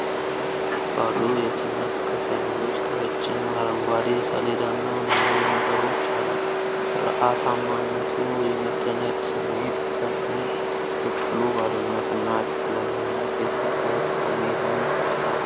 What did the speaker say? ባዶ የትምህርት ክፍል ውስጥ፣ ረጅም አረንጓዴ ሰሌዳና ብዙ ወንበሮች አሉ። ሥርዓታማነቱ የመደነቅ ስሜት ቢሰጥም፣ የክፍሉ ባዶነትና ጨለማነት የጭንቀት ስሜትን ይፈጥራል።